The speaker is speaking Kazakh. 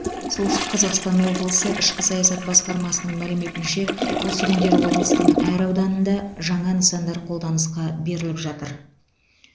солтүстік қазақстан облысы ішкі саясат басқармасының мәліметінше осы күндері облыстың әр ауданында жаңа нысандар қолданысқа беріліп жатыр